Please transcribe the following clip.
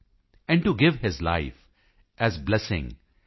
and to give his life as blessing